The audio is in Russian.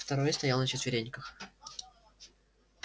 второй стоял на четвереньках